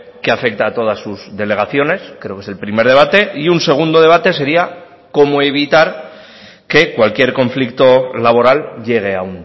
que afecta a todas sus delegaciones creo que es el primer debate y un segundo debate sería cómo evitar que cualquier conflicto laboral llegue a